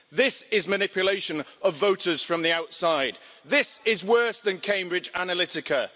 This is manipulation of voters from the outside. This is worse than Cambridge Analytica.